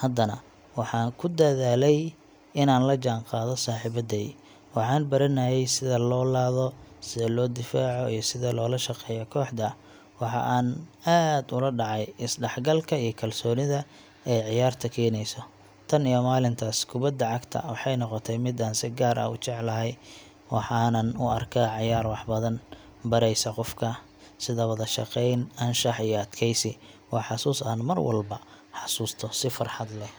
haddana waxaan ku dadaalayay inaan la jaanqaado saaxiibadey. Waxaan baranayay sida loo laado, sida loo difaaco, iyo sida loola shaqeeyo kooxda. Waxa aan aad ula dhacay is-dhexgalka iyo kalsoonida ay ciyaarta keenayso. Tan iyo maalintaas, kubadda cagta waxay noqotay mid aan si gaar ah u jeclahay, waxaanan u arkaa ciyaar wax badan baraysa qofka, sida wada shaqeyn, anshax iyo adkeysi. Waa xusuus aan mar walba xasuusto si farxad leh.